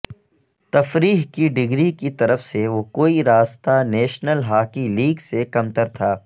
تفریح کی ڈگری کی طرف سے وہ کوئی راستہ نیشنل ہاکی لیگ سے کمتر تھا